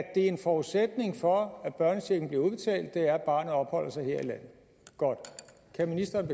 er en forudsætning for at børnechecken bliver udbetalt at barnet opholder sig her i landet godt kan ministeren